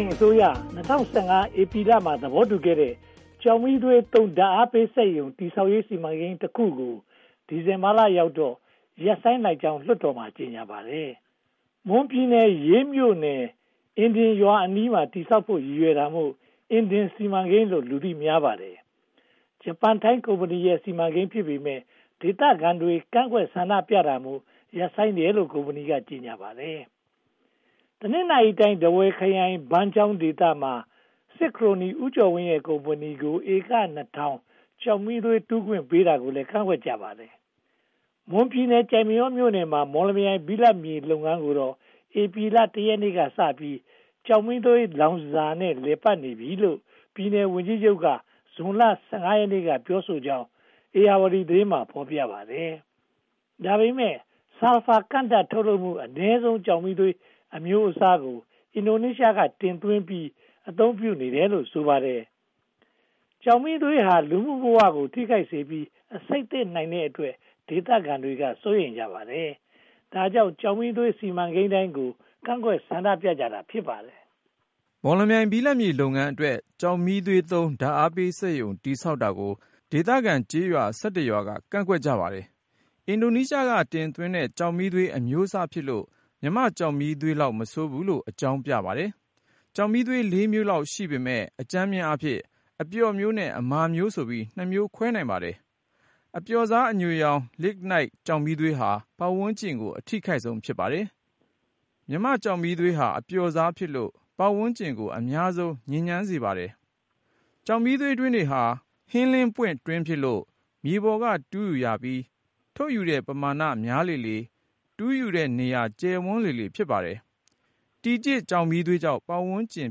န်အစိုးရ ၂၀၁၅ ဧပြီလမှာ သဘောတူခဲ့တဲ့ ကျောက်မီးသွေး ဓါတ်အားပေးစက်ရုံ တည်ဆောက်ရေး စီမံကိန်းတခုကို ဒီဇင်ဘာလရောက်တော့ ရပ်ဆိုင်းလိုက်ကြောင်း လွှတ်တော်မှာ ကြေညာပါတယ်။ မွန်ပြည်နယ်ရေးမြို့နယ် အင်ဒင်ရွာအနီးမှာ တည်ဆောက်ဖို့ ရည်ရွယ်တာမို့ အင်ဒင်စီမံကိန်းလို့ လူသိများပါတယ်။ ဂျပန်-ထိုင်း ကုမ္ပဏီရဲ့ စီမံကိန်းဖြစ်ပေမယ့် ဒေသခံတွေ ကန့်ကွက်ဆန္ဒပြတာမို့ ရပ်ဆိုင်းတယ်လို့ ကုမ္ပဏီက ကြေညာပါတယ်။ တနင်္သာရီတိုင်း၊ ထားဝယ်ခရိုင် ဘန်းချောင်းဒေသမှာ စစ်ခရိုနီ ဦးကျော်ဝင်းရဲ့ ကုမ္ပဏီကို ဧက (၂) ထောင် ကျောက်မီးသွေး တူးခွင့်ပေးတာကိုလည်း ကန့်ကွက်ကြပါတယ်။ မွန်ပြည်နယ် ကျိုက်မရောမြို့နယ်က မော်လမြိုင် ဘိလပ်မြေလုပ်ငန်းကိုတော့ ဧပြီလ (၁) ရက်နေ့ကစပြီး ကျောက်မီးသွေးလောင်စာနဲ့ လည်ပတ်နေပြီလို့ ပြည်နယ်ဝန်ကြီးချုပ်က ဇွန်လ (၁၅) ရက်နေ့က ပြောဆိုကြောင်း ဧရာဝတီသတင်းစာမှာ ဖော်ပြပါတယ်။ ဒါပေမဲ့ ဆာလ်ဖာ (ကန့်ဓါတ်) ကို ထုတ်လွှတ်မှု အနည်းဆုံး ကျောက်မီးသွေး အမျိုးအစားကို အင်ဒိုနေရှားက တင်သွင်းပြီး အသုံးပြုနေတယ်လို့ ဆိုပါတယ်။ ကျောက်မီးသွေးဟာ လူမှုဘဝကို ထိခိုက်နစ်နာပြီး အဆိပ်သင့်နိုင်တဲ့အတွက် ဒေသခံတွေက စိုးရိမ်ကြပါတယ်။ ဒါကြောင့် ကျောက်မီးသွေး စီမံကိန်းတိုင်းကို ကန့်ကွက်ဆန္ဒပြကြတာ ဖြစ်ပါတယ်။ မော်လမြိုင် ဘိလပ်မြေလုပ်ငန်းအတွက် ကျောက်မီးသွေးသုံး ဓါတ်အားပေးစက်ရုံ တည်ဆောက်တာကို ဒေသခံကျေးရွာ (၁၁) ရွာက ကန့်ကွက်ကြပါတယ်။ အင်ဒိုနေရှားက တင်သွင်းတဲ့ ကျောက်မီးသွေး အမျိုးအစားဖြစ်လို့ မြန်မာ့ကျောက်မီးသွေးလောက် မဆိုးဘူးလို့ အကြောင်းပြပါတယ်။ ကျောက်မီးသွေး (၄) မျိုးလောက် ရှိပေမယ့် အကြမ်းအားဖြင့် အပျော့မျိုး နဲ့ အမာမျိုးဆိုပြီး နှစ်မျိုးခွဲနိုင်ပါတယ်။ အပျော့စား အညိုရောင် Lignite ကျောက်မီးသွေးဟာ ပတ်ဝန်းကျင်ကို အထိခိုက်ဆုံးပါ။ မြန်မာ့ကျောက်မီးသွေးဟာ အပျော့စားဖြစ်လို့ ပတ်ဝန်းကျင်ကို အများဆုံး ညစ်ညမ်းစေပါတယ်။ ကျောက်မီးသွေးတွင်းတွေဟာ ဟင်းလင်းပွင့်တွင်းတွေဖြစ်လို့ မြေပေါ်က တူးယူရပြီး၊ ထုတ်ယူတဲ့ ပမာဏများလေလေ တူးယူတဲ့နေရာ ကျယ်ဝန်းလေလေ ဖြစ်ပါတယ်။ တီကျစ် ကျောက်မီးသွေးကြောင့် ပတ်ဝန်းကျင်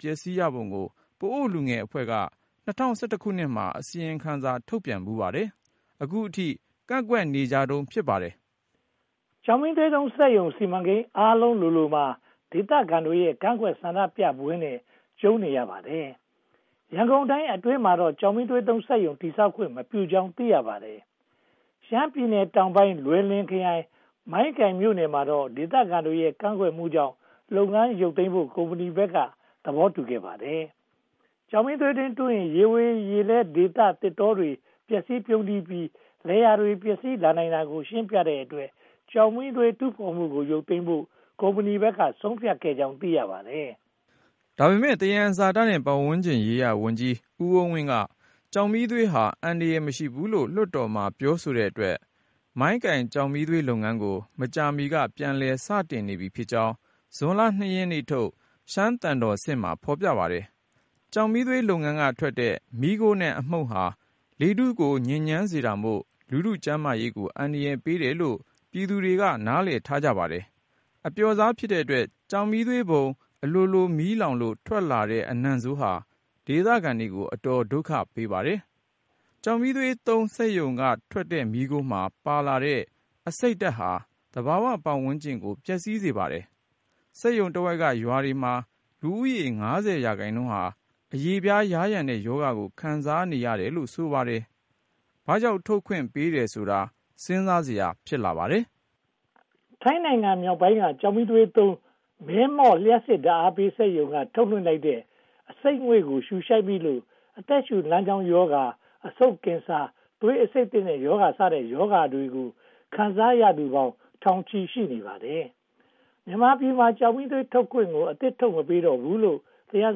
ပျက်ဆီးရပုံကို ပအို့လူငယ်အဖွဲ့က (၂၀၁၁) မှာ အစီရင်ခံစာ ထုတ်ပြန်ဖူးပါတယ်။ အခုအထိ ကန့်ကွက်နေကြတုန်း ဖြစ်ပါတယ်။ ကျောက်မီးသွေးသုံးစက်ရုံ စီမံကိန်းအားလုံးလိုလိုမှာ ဒေသခံတွေရဲ့ ကန့်ကွက်ဆန္ဒပြပွဲနဲ့ ကြုံတွေ့နေရပါတယ်။ ရန်ကုန်တိုင်းအတွင်းမှာတော့ ကျောက်မီးသွေးသုံးစက်ရုံ တည်ဆောက်ခွင့်မပြုကြောင်း သိရပါတယ်။ ရှမ်းပြည်နယ်တောင်ပိုင်း လွိုင်လင်ခရိုင် မိုင်းကိုင်မြို့နယ်မှာတော့ ဒေသခံတွေရဲ့ ကန့်ကွက်မှုကြောင့် လုပ်ငန်းရုတ်သိမ်းဖို့ ကုမ္ပဏီဘက်က သဘောတူခဲ့ပါတယ်။ ကျောက်မီးသွေးတူးယူရင် ရေဝေးရေလဲဒေသ သစ်တောတွေ ပျက်စီးပြုန်းတီးပြီး လယ်ယာတွေပါ ပျက်စီးလာနိုင်တာကို ရှင်းပြနိုင်တဲ့အတွက် ကျောက်မီးသွေးတူးဖော်မှုကို ရုတ်သိမ်းဖို့ ကုမ္ပဏီဘက်က ဆုံးဖြတ်ခဲ့ကြောင်း သိရပါတယ်။ ဒါပေမဲ့ သယံဇာတနဲ့ ပတ်ဝန်းကျင်ရေးရာဝန်ကြီး ဦးအုန်းဝင်းက ကျောက်မီးသွေးဟာ အန္တရာယ်မရှိဘူးလို့ လွှတ်တော်မှာ ပြောဆိုတဲ့အတွက် မိုင်းကိုင်ကျောက်မီးသွေးလုပ်ငန်းကို မကြာမီက ပြန်လည်စတင်နေပြီဖြစ်ကြောင်း ဇွန်လ (၂) ရက်ထုတ် ရှမ်းသံတော်ဆင့်မှာ ဖော်ပြပါတယ်။ ကျောက်မီးသွေးလုပ်ငန်းကထွက်တဲ့ မီးခိုးနဲ့ အမှုန့်ဟာ လေရေထုကို ညစ်ညမ်းစေတာမို့ လူထုကျန်းမာရေးကို အန္တရာယ်ပေးတယ်လို့ ပြည်သူတွေက နားလည်ထားပါတယ်။ အပျော့စားဖြစ်တဲ့အတွက် ကျောက်မီးသွေးပုံ အလိုလို မီးလောင်လို့ ထွက်လာတဲ့ အနံ့ဆိုးဟာ ဒေသခံတွေကို အတော်ဒုက္ခပေးပါတယ်။ ကျောက်မီးသွေးသုံးစက်ရုံက ထွက်တဲ့မီးခိုးမှာ ပါလာတဲ့ အဆိပ်ဓါတ်ဟာ သဘာဝပတ်ဝန်းကျင်ကို ပျက်စီးစေပါတယ်။ စက်ရုံတဝိုက်က ရွာတွေမှာ လူဦးရေး (၅၀) ရာခိုင်နှုန်းဟာ အရေပြားယားယံတဲ့ရောဂါကို ခံစားနေရတယ်လို့ ဆိုပါတယ်။ ဘာကြောင့် ထုတ်ခွင့်ပေးတယ်ဆိုတာဟာ စဉ်းစားစရာ ဖြစ်လာပါတယ်။ ထိုင်းနိုင်ငံမြောက်ပိုင်းက ကျောက်မီးသွေးသုံး မဲမော့လျှပ်စစ်ဓါတ်အားစက်ရုံက ထုတ်လွှင့်လိုက်တဲ့ အဆိပ်ငွေ့ကို ရှုရှိုက်မိလို့ အသက်ရှုလမ်းကြောင်းရောဂါ၊ အဆိပ်ကင်ဆာ၊ သွေးအဆိပ်သင့်ရောဂါ စတဲ့ ရောဂါတွေကို ခံစားရသူပေါင်း ထောင်ချီရှိပါတယ်။ မြန်မာပြည်မှာ ကျောက်မီးသွေးထုတ်ခွင့်ကို အသစ်ထုတ်မပေးတော့ဘူးလို့ သယံ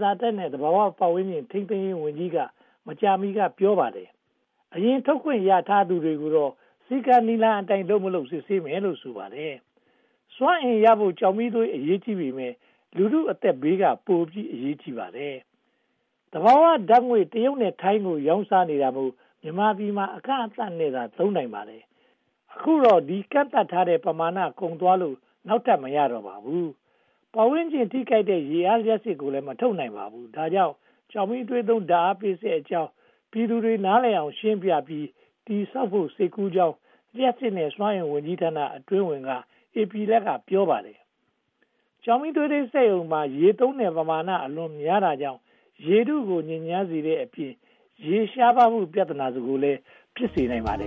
ဇာတနဲ့ သဘာဝပတ်ဝန်းကျင် ထိန်းသိမ်းရေးဝန်ကြီးဌာနက မကြာမီက ပြောပါတယ်။ အရင်ထုတ်ခွင့်ရထားသူတွေကိုတော့ စည်းကမ်းနည်းလမ်းအတိုင်း လုပ်မလုပ် စစ်ဆေးမယ်လို့ ဆိုပါတယ်။ စွမ်းအင်ရဖို့ ကျောက်မီးသွေး အရေးကြီးပေမယ့် လူထုအသက်ဘေးက ပိုအရေးကြီးပါတယ်။ သဘာဝဓါတ်ငွေ့ တရုတ်နဲ့ထိုင်းကို ရောင်းစားနေတာမို့ မြန်မာပြည်မှာ အကန့်အသတ်နဲ့သာ သုံးနိုင်ပါတယ်။ အခုတော့ ဒီကန့်သတ်ထားတဲ့ ပမာဏကုန်သွားလို့ နောက်ထပ်မရတော့ပါဘူး။ ပတ်ဝန်းကျင် ထိခိုက်နိုင်တဲ့ ရေအားလျှပ်စစ်ကိုလည်း မထုတ်နိုင်ပါဘူး။ ဒါကြောင့် ကျောက်မီးသွေးသုံး ဓါတ်အားပေးစက်အကြောင်း ပြည်သူနားလည်အောင် ရှင်းပြပြီး တည်ဆောက်ဖို့ စိတ်ကူးရှိကြောင်း လျှပ်စစ်နဲ့ စွမ်းအင်ဝန်ကြီးဌာန အတွင်းဝန်က ဧပြီလက ပြောပါတယ်။ ကျောက်မီးသွေးစက်ရုံမှာ ရေသုံးတဲ့ ပမာဏ အလွန်များတာကြောင့် ရေထုကို ညစ်ညမ်းစေတဲ့အပြင် ရေရှားပါးမှု ပြဿနာကိုလည်း ဖြစ်စေနိုင်ပါတယ